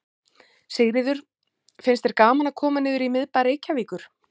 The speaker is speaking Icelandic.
Sigríður: Finnst þér gaman að koma niður í miðbæ Reykjavíkur?